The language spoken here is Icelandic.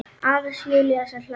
Aðeins Júlía sem hlær ekki.